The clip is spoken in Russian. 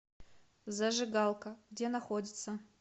зажигалка где находится